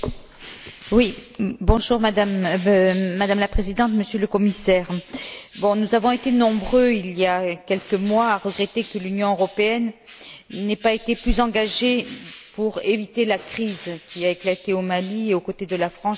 Madame la Présidente, Monsieur le Commissaire, nous avons été nombreux, il y a quelques mois, à regretter que l'Union européenne n'ait pas été plus engagée pour éviter la crise qui a éclaté au Mali, et aux côtés de la France, au moment de l'intervention militaire.